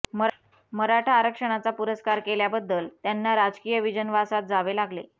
मराठा आरक्षणाचा पुरस्कार केल्याबद्दल त्यांना राजकीय विजनवासात जावे लागले